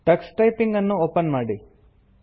Tux typing ಅನ್ನು open ಮಾಡಿ